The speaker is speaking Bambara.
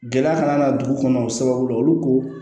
Gɛlɛya kana na dugu kɔnɔ o sababu la olu ko